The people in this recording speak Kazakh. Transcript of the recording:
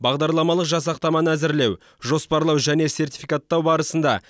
бағдарламалық жасақтаманы әзірлеу жоспарлау және сертификаттау барысында